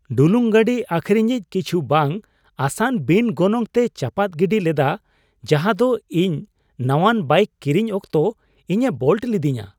ᱰᱩᱞᱩᱝ ᱜᱟᱹᱰᱤ ᱟᱹᱠᱷᱨᱤᱧᱤᱡ ᱠᱤᱪᱷᱩ ᱵᱟᱝᱼᱟᱥᱟᱱ ᱵᱤᱱ ᱜᱚᱱᱚᱝ ᱛᱮᱭ ᱪᱟᱯᱟᱫ ᱜᱤᱰᱤ ᱞᱮᱫᱟ ᱡᱟᱸᱦᱟ ᱫᱚ ᱤᱧ ᱱᱟᱣᱟᱱ ᱵᱟᱭᱤᱠ ᱠᱤᱨᱤᱧ ᱚᱠᱛᱚ ᱤᱧᱮ ᱵᱳᱞᱴ ᱞᱤᱫᱤᱧᱟ ᱾